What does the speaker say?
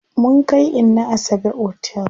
Mun kai inna Asabe otel.